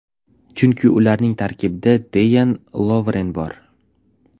Chunki ularning tarkibida Deyan Lovren bor.